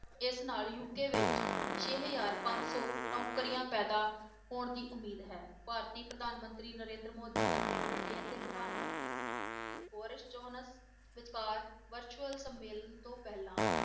ਇਸ ਨਾਲ UK ਵਿੱਚ, ਛੇ ਹਜ਼ਾਰ ਪੰਜ ਸੌ ਨੌਕਰੀਆਂ ਪੈਦਾ ਹੋਣ ਦੀ ਉਮੀਦ ਹੈ, ਭਾਰਤੀ ਪ੍ਰਧਾਨ ਮੰਤਰੀ ਨਰਿੰਦਰ ਮੋਦੀ ਅਤੇ ਬ੍ਰਿਟੇਨ ਦੇ ਪ੍ਰਧਾਨ ਮੰਤਰੀ ਬੋਰਿਸ ਜੋਹਨਸ ਵਿਚਕਾਰ virtual ਸੰਮੇ~ ਸੰਮੇਲਨ ਤੋਂ ਪਹਿਲਾਂ